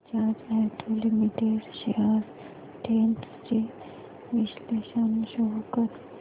Bajaj auto limited shares trends चे विश्लेषण show कर